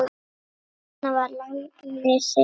Svona var Lalli Sig.